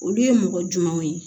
Olu ye mɔgɔ jumɛnw ye